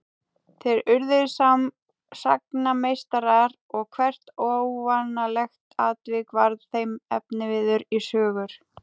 Þeir urðu sagnameistarar og hvert óvanalegt atvik varð þeim efniviður í sögur.